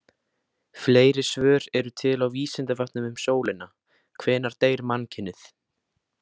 Fleiri svör eru til á Vísindavefnum um sólina: Hvenær deyr mannkynið?